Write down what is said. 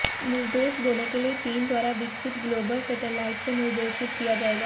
निर्देश देने के लिए चीन द्वारा विकसित ग्लोबल सैटेलाइट से निर्देशित किया जाएगा